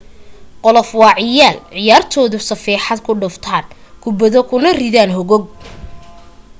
golof waa ciyaar ciyaartoydu safeexad ku dhuftaan kubbado kuna ridaan hogag